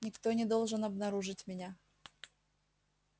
никто не должен обнаружить меня